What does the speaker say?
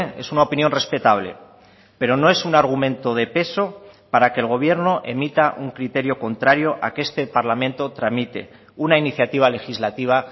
es una opinión respetable pero no es un argumento de peso para que el gobierno emita un criterio contrario a que este parlamento tramite una iniciativa legislativa